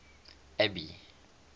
abby